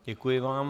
Děkuji vám.